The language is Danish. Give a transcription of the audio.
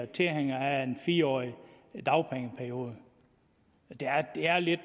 tilhængere af en fire årig dagpengeperiode det er lidt